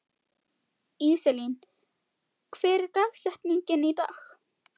Íselín, hver er dagsetningin í dag?